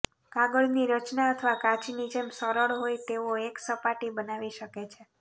કાગળની રચના અથવા કાચની જેમ સરળ હોય તેવો એક સપાટી બનાવી શકે છે